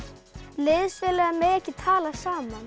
liðsfélagar mega ekki tala saman